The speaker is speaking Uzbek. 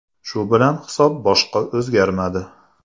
Shu bilan hisob boshqa o‘zgarmadi.